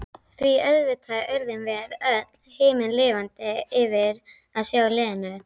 Því auðvitað urðum við öll himinlifandi yfir að sjá Lenu.